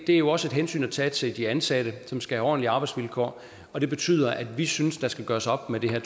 er jo også et hensyn til til de ansatte som skal have ordentlige arbejdsvilkår og det betyder at vi synes der skal gøres op med det